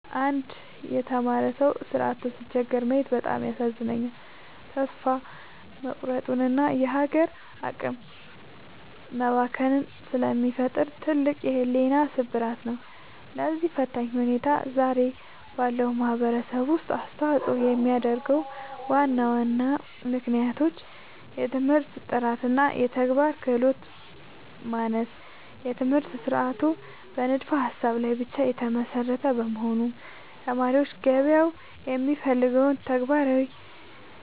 አንድ የተማረ ሰው ሥራ አጥቶ ሲቸገር ማየት በጣም ያሳዝናል፤ ተስፋ መቁረጥንና የሀገር አቅም መባከንን ስለሚፈጥር ትልቅ የሕሊና ስብራት ነው። ለዚህ ፈታኝ ሁኔታ ዛሬ ባለው ማኅበረሰብ ውስጥ አስተዋፅኦ የሚያደርጉ ዋና ዋና ምክንያቶች፦ የትምህርት ጥራትና የተግባር ክህሎት ማነስ፦ የትምህርት ሥርዓቱ በንድፈ-ሀሳብ ላይ ብቻ የተመሰረተ በመሆኑ፣ ተማሪዎች ገበያው የሚፈልገውን ተግባራዊ